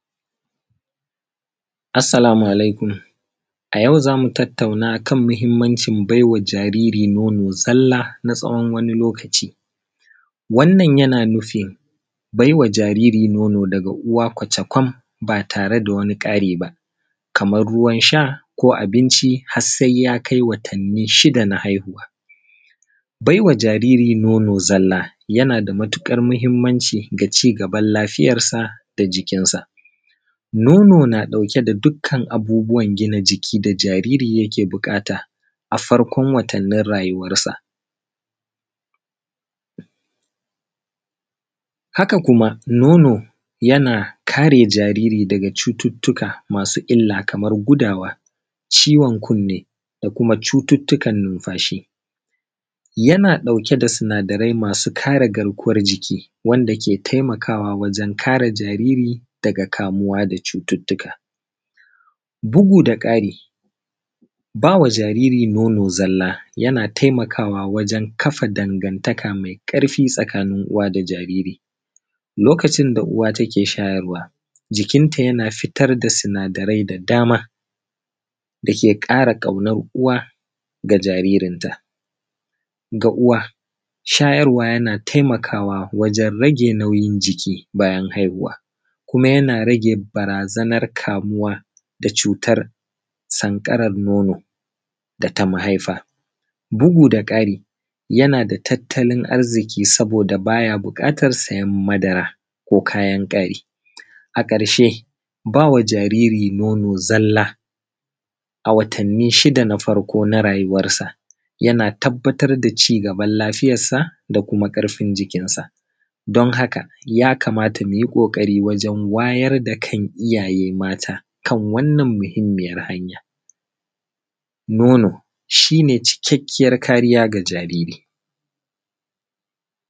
assalamu alaikum a yau za mu tattauna kan muhimmancin bai wa jariri nono zalla na tsawon wani lokaci wannan yana nufin baiwa jariri nono daga uwa kwacokan ba tare da wani ƙari ba kaman ruwan sha ko abinci harsai ya kai watanni shida na haihuwa baiwa jariri nono zalla yana da matuƙar muhimmanci ga cigaban lafiyansa da jikinsa nono na ɗauke da dukkan abubbuwan gina jiki da jariri yake buƙata a farkon watannin rayuwar sa haka kuma nono yana kare jariri daga cututtuka masu illa kaman gudawa ciwon kunni ko kuma cututtukan numfashi yana ɗauke da sinadarai masu kare garkuwan jiki wanda ke taimakawa wajen kare jariri daga kamuwa daga cututtuka bugu da ƙari ba wa jariri nono zalla yana taimakawa wajen kafa dangantaka mai ƙarfi tsakanin uwa da jariri lokacin da uwa take shayarwa jikinta yana fitar da sinadarai da dama da ke ƙara ƙaunar uwa ga jaririn ta ga uwa shayarwa yana taimakawa wajen rage nauyin jiki bayan haihuwa kuma yana rage barazanar kamuwa da cutar sanƙarar nono da ta mahaifa bugu da ƙari ya na da tattalin arziki saboda ba ya buƙatar sayan madara ko kayan ƙari a ƙarshe ba wa jariri nono zalla a watannin shida na farkon na rayuwan sa ya na tabbatar da cigabar lafiyansa da kuma ƙarfin jikinsa don haka ya kamata mu yi ƙoƙari wajen wayar da kan iyaye mata kan wannan muhimmiyan hanyar nono shine cikakken kariya ga jariri